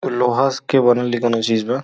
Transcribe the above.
लोहा स के बनल इ कोनो चीज बा।